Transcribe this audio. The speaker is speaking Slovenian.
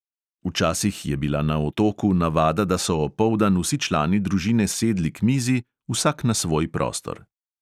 Včasih je bila na otoku navada, da so opoldan vsi člani družine sedli k mizi vsak na svoj prostor.